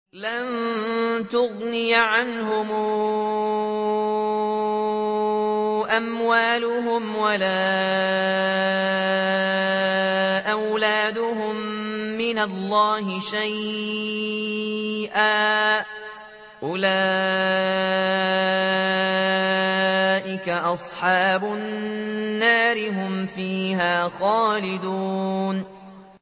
لَّن تُغْنِيَ عَنْهُمْ أَمْوَالُهُمْ وَلَا أَوْلَادُهُم مِّنَ اللَّهِ شَيْئًا ۚ أُولَٰئِكَ أَصْحَابُ النَّارِ ۖ هُمْ فِيهَا خَالِدُونَ